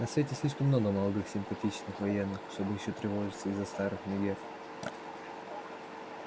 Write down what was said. на свете слишком много молодых симпатичных военных чтобы ещё тревожиться из-за старых мегер